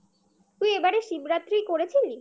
তুই এবারে শিবরাত্রি করেছিলি?